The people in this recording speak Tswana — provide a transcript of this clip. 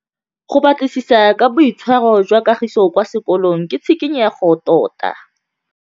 Go batlisisa ka boitshwaro jwa Kagiso kwa sekolong ke tshikinyêgô tota.